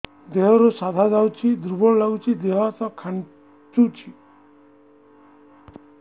ଦେହରୁ ସାଧା ଯାଉଚି ଦୁର୍ବଳ ଲାଗୁଚି ଦେହ ହାତ ଖାନ୍ଚୁଚି